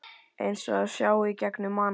Eins og það sjái í gegnum mann.